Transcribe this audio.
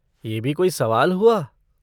ये भी कोई सवाल हुआ!